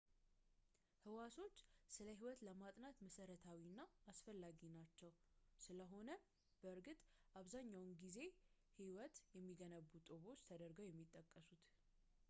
ህዋሶች ስለ ስነህይወት ለማጥናት መሰረታዊና አስፈላጊ ናቸው፣ ስለሆነም ነው፣ በእርግጥ፣ አብዛኛውን ጊዜ ህይወትን የሚገነቡ ጡቦች ተደርገው የሚጠቀሱት